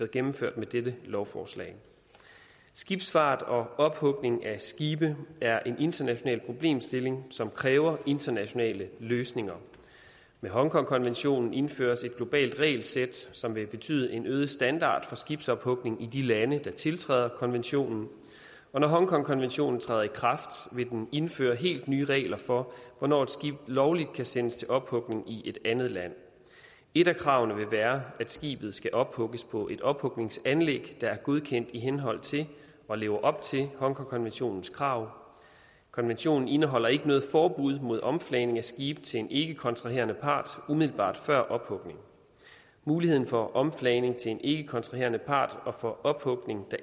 gennemført med dette lovforslag skibsfart og ophugning af skibe er en international problemstilling som kræver internationale løsninger med hongkongkonventionen indføres et globalt regelsæt som vil betyde en øget standard for skibsophugning i de lande der tiltræder konventionen og når hongkongkonventionen træder i kraft vil den indføre helt nye regler for hvornår et skib lovligt kan sendes til ophugning i et andet land et af kravene vil være at skibet skal ophugges på et ophugningsanlæg der er godkendt i henhold til og lever op til hongkongkonventionens krav konventionen indeholder ikke noget forbud mod omflagning af skibe til en ikkekontraherende part umiddelbart før ophugning muligheden for omflagning til en ikkekontraherende part og for ophugning